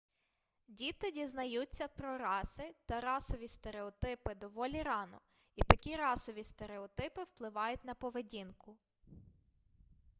діти дізнаються про раси та расові стереотипи доволі рано і такі расові стереотипи впливають на поведінку